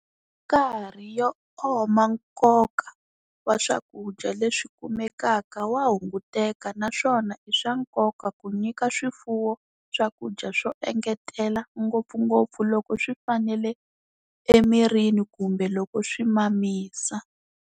Hi nkarhi yo oma nkoka wa swakudya leswi kumekaka wa hunguteka naswona i swa nkoka ku nyika swifuwo swakudya swo engetela ngopfungopfu loko swi fanele emirini kumbe loko swi mamisa.